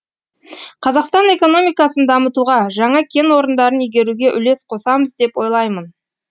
қазақстан экономикасын дамытуға жаңа кен орындарын игеруге үлес қосамыз деп ойлаймын